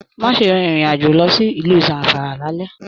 Má ṣe rìn ìrin àjò lọ sí ìlú Zamfara l'alẹ̀.